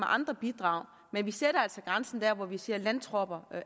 andre bidrag men vi sætter altså grænsen der hvor vi siger landtropper er